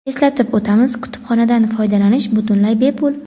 Eslatib o‘tamiz, kutubxonadan foydalanish butunlay bepul!.